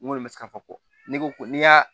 N kɔni bɛ se ka fɔ ko ne ko n'i y'a